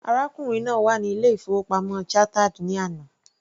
Arákùnrin náà wà ní ilé- ìfowópamọ́ Chartered ní àná.